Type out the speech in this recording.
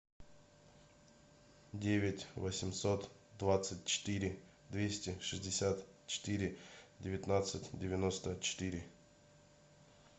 девять восемьсот двадцать четыре двести шестьдесят четыре девятнадцать девяносто четыре